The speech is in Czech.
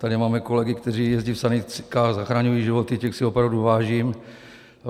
Tady máme kolegy, kteří jezdí v sanitkách, zachraňují životy, těch si opravdu vážím.